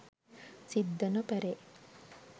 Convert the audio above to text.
සිත් ද නොපැරේ.